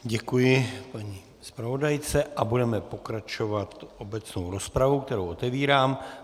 Děkuji paní zpravodajce a budeme pokračovat obecnou rozpravou, kterou otevírám.